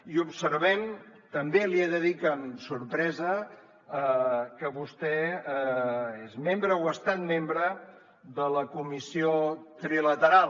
i observem també li he de dir que amb sorpresa que vostè és membre o ha estat membre de la comissió trilateral